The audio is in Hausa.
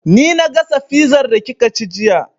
Ni na gasa fizar da kika ci jiya